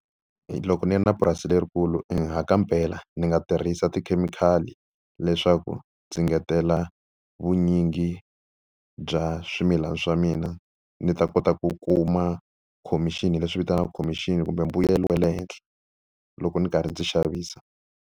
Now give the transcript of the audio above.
Loko ndzi ri na purasi lerikulu i ha ka mpela ndzi nga tirhisa tikhemikhali leswaku ndzi ngetela vunyingi bya swimilana swa mina ni ta kota ku kuma khomixini, leswi vitanaka khomixini kumbe mbuyelo wa le henhla loko ndzi karhi ndzi xavisa.